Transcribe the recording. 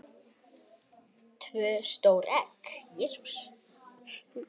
tvö stór egg